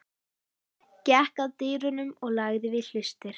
Gekk að dyrunum og lagði við hlustir.